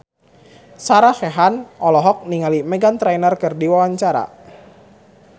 Sarah Sechan olohok ningali Meghan Trainor keur diwawancara